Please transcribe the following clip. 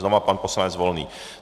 Znovu pan poslanec Volný.